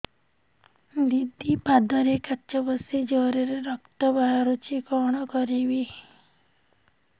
ଦିଦି ପାଦରେ କାଚ ପଶି ଜୋରରେ ରକ୍ତ ବାହାରୁଛି କଣ କରିଵି